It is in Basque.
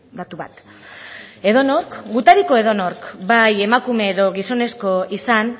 datu bat edonork gutariko edonork bai emakume edo gizonezko izan